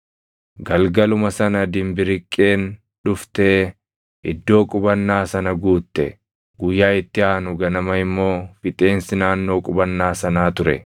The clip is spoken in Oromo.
Galgaluma sana dimbiriqqeen dhuftee iddoo qubannaa sana guutte; guyyaa itti aanu ganama immoo fixeensi naannoo qubannaa sanaa ture.